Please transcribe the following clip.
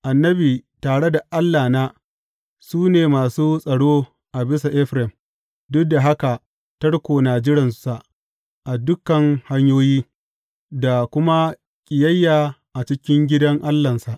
Annabi, tare da Allahna, su ne masu tsaro a bisa Efraim, duk da haka tarko na jiransa a dukan hanyoyi, da kuma ƙiyayya a cikin gidan Allahnsa.